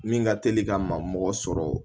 Min ka teli ka ma mɔgɔ sɔrɔ